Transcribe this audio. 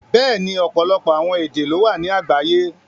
Bẹ́ẹ̀ni, ọpọlọpọ awọn èdè ló wà ni àgbàyé.